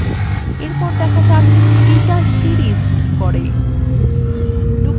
এরপর দেখা যাক data series কি করে